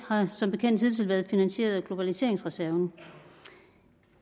har som bekendt hidtil været finansieret af globaliseringsreserven